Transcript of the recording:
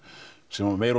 sem meira og